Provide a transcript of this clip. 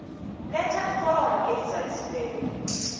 letha iforomo elizalisiweko